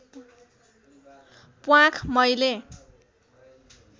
प्वाँख मैले